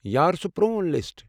یار، سُہ پروٗن لِسٹ۔